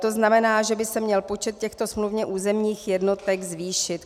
To znamená, že by se měl počet těchto smluvně územních jednotek zvýšit.